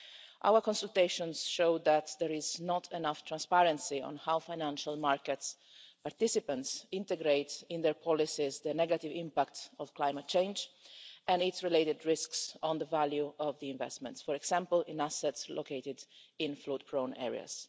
Our consultations showed that there is not enough transparency on how financial market participants integrate in their policies the negative impact of climate change and its related risks on the value of the investments, for example in assets located in flood-prone areas.